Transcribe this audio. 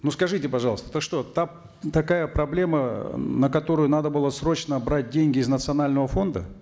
ну скажите пожалуйста это что такая проблема на которую надо было срочно брать деньги из национального фонда